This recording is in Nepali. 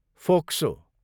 फोक्सो